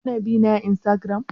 Ki na bina a Instagram?